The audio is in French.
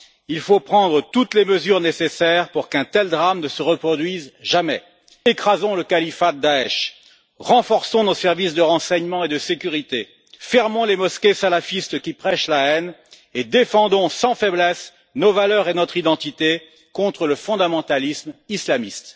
Il faut prendre toutes les mesures nécessaires pour qu'un tel drame ne se reproduise jamais. Écrasons le califat de Daech, renforçons nos services de renseignement et de sécurité, fermons les mosquées salafistes qui prêchent la haine et défendons sans faiblesse nos valeurs et notre identité contre le fondamentalisme islamiste.